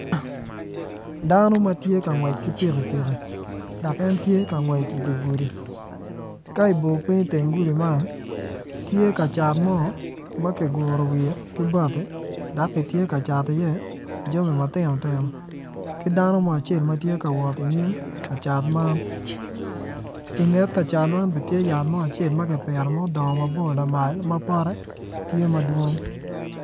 Dano matye ka ngwec ki pikipiki dok en tye ka ngwec i digudi table pe i teng gudi man tye ka cat mo makiguro wiye ki bati dok kitye ka cato i ye jami matino tino kidono mo acel matye ka wot inyim kacat man i nget kacat man bene tye yat mo acel maki pito ma odongo mabor lamal mapote tye madwong.